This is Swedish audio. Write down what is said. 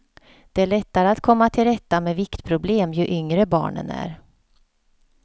Det är lättare att komma tillrätta med viktproblem ju yngre barnen är.